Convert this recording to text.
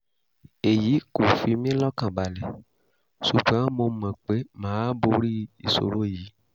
èyí kò fi mí lọ́kàn balẹ̀ ṣùgbọ́n mo mọ̀ pé mà á borí ìṣòro yìí